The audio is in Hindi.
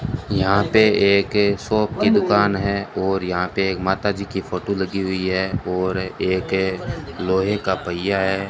यहां पे एक शॉप की दुकान है और यहां पे एक माताजी की फोटो लगी हुई है और एक लोहे का पहिया है।